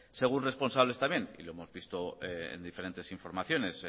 según responsables también y lo hemos visto en diferentes informaciones